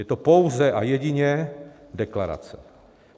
Je to pouze a jedině deklarace.